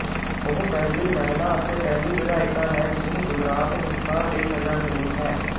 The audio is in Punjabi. ਉਹ ਪਹਿਲੀ ਮਹਿਲਾ ਅਤੇ ਪਹਿਲੀ ਵਿਧਾਇਕਾ ਹੈ ਜਿਸਨੂੰ ਗੁਜਰਾਤ ਹਿੰਸਾ ਲਈ ਸਜਾ ਮਿਲੀ ਹੈ